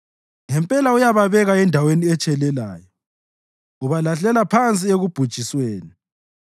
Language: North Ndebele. Ngempela uyababeka endaweni etshelelayo; ubalahlela phansi ekubhujisweni.